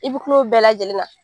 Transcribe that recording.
I bɛ kil'o bɛɛ lajɛlen na